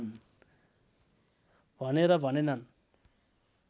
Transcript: भनेर भनेनन्